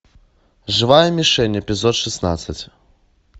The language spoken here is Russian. живая мишень эпизод шестнадцать